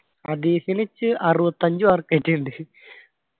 അദീസിനു അറുപത്തഞ്ചു mark ആറ്റം ഉണ്ട്